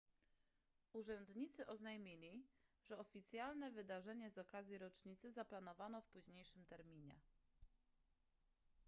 urzędnicy oznajmili że oficjalne wydarzenie z okazji rocznicy zaplanowano w późniejszym terminie